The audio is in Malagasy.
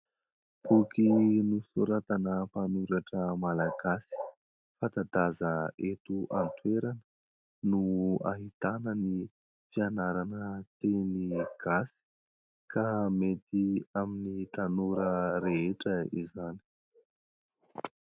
Boky nosoratana mpanoratra malagasy fanta-daza eto an-toerana no ahitana ny fianarana teny gasy ka mety amin'ny tanora rehetra izany.